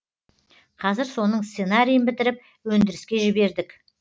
қазір соның сценарийін бітіріп өндіріске жібердік